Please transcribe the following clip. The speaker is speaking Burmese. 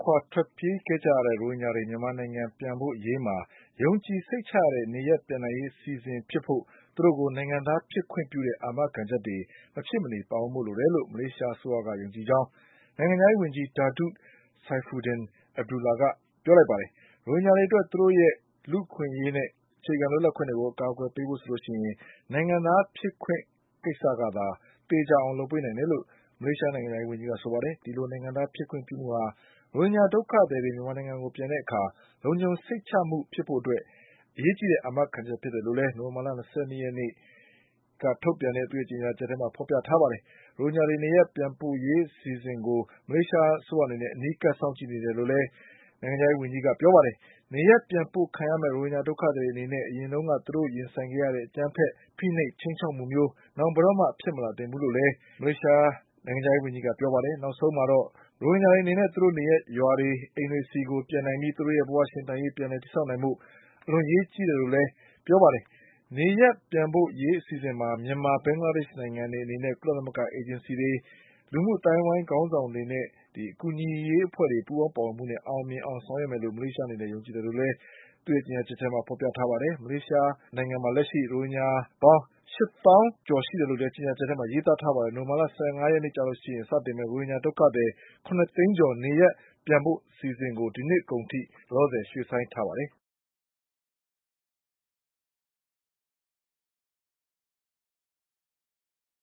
ခွာ ထွက်ပြေးကြရတဲ့ ရိုဟင်ဂျာတွေ မြန်မာနိုင်ငံပြန်ပို့ရေးမှာ ယုံကြည်စိတ်ချရတဲ့ေ နရပ်ပြန်နိုင်ရေး အစီအစဉ်ဖြစ်ဖို့ သူတို့ကို နိုင်ငံသားဖြစ်ခွင့်ပြုတဲ့ အာမခံချက်တွေ မဖြစ်မနေပါဝင်ဖို့ လိုတယ်လို့ မလေးရှားအစိုးရက ယုံကြည်ကြောင်း နိုင်ငံခြားရေးဝန်ကြီး Datuk Saifuddin Abdullah က ပြောဆိုလိုက်ပါတယ်။ ရိုဟင်ဂျာတွေအတွက် သူတို့ရဲ့ လူ့အခွင့်အရေးနဲ့ အခြေခံလွတ်လပ်မှုတွေကို အကာအကွယ်ပေးဖို့ဆိုရင် နိုင်ငံသားဖြစ်ခွင့် ကိစ္စကသာ သေချာအောင်လုပ်ပေးနိုင်တယ်လို့ မလေးရှားနိုင်ငံခြားရေးဝန်ကြီးက ဆိုပါတယ်။ ဒီလိုနိုင်ငံသားဖြစ်ခွင့်ပြုမှုဟာ ရိုဟင်ဂျာဒုက္ခသည်တွေ မြန်မာနိုင်ငံကိုပြန်တဲ့အခါ လုံခြုံစိတ်ချမှုဖြစ်ဖို့အတွက် အရေးကြီးတဲ့ အာမခံချက်ဖြစ်တယ်လို့လည်း နိုဝင်ဘာလ ၂၂ ရက် ကြာသာပတေးနေ့က ထုတ်ပြန်တဲ့ သူ့ရဲ့ ကြေညာချက်မှာ ဖေါ်ပြထားပါတယ်။ ဒါအပြင် ရိုဟင်ဂျာတွေ နေရပ်ပြန်ပို့ရေးအစီအစဉ်ကို မလေးရှားအစိုးရအနေနဲ့ အနီးကပ်စောင့်ကြည့်နေတယ်လို့လည်း နိုင်ငံခြားရေးဝန်ကြီး Datuk Saifuddin Abdullah ကပြောပါတယ်။ နေရပ်ပြန်ပို့ခံရမယ့် ရိုဟင်ဂျာဒုက္ခသည်တွေအနေနဲ့ အရင်ကသူတို့ရင်ဆိုင်ခဲ့ရတဲ့ အကြမ်းဖက် ဖိနှိပ် ခြိမ်းခြောက်မှုမျိုး နောင်ဘယ်တော့မှ ဖြစ်မလာသင့်ဘူးလို့လည်း Saifuddin ကပြောပါတယ်။ နောက်ဆုံးမှာတော့ ရိုဟင်ဂျာတွေအနေနဲ့ သူတို့နေရပ်ရွာတွေ၊ အိမ်တွေဆီကို ပြန်နိုင်ပြီး သူတို့ရဲ့ဘဝရှင်သန်ရေး ပြန်လည်တည်ဆောက်နိုင်ဖို့ အလွန်အရေးကြီးတယ်လို့လည်း သူကဆိုပါတယ်။ နေရပ်ပြန်ပို့ရေးအစီအစဉ်မှာ မြန်မာ၊ ဘင်္ဂလားဒေ့ရှ်နိုင်ငံတွေအနေနဲ့ ကုလသမဂ္ဂအေဂျင်စီတွေ၊ လူမှုအသိုင်းအဝိုင်းခေါင်းဆောင်တွေရဲ့ အကူအညီတွေ ပူးပေါင်းပါဝင်မှုနဲ့ အောင်မြင်အောင်ဆောင်ရွက်မယ်လို့ မလေးရှားအနေနဲ့ ယုံကြည်တယ်လို့ ကြေညာချက်မှာ ဖေါ်ပြထားပါတယ်။ လက်ရှိမလေးရှားနိုင်ငံမှာ ရိုဟင်ဂျာ ပေါင်း ၈၀,၀၁၈ ရှိတယ်လို့လည်း ကြေညာချက်မှာ ရေးသားထားပါတယ်။ နိုဝင်ဘာလ (၁၅)ရက်နေ့မှာ စတင်မယ့် ရိုဟင်ဂျာ ဒုက္ခသည် ၇ သိန်းကျော် နေရပ်ပြန်ပို့အစီအစဉ်ကို ဒီနှစ်အကုန်ထိ ရွှေ့ဆိုင်းထားပါတယ်။